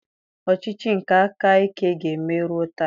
Ọchịchị nke aka ike ka na-eme ruo taa.